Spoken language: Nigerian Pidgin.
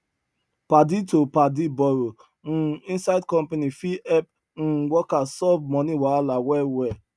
padi to padi borrow um inside company fit help um workers solve money wahala well well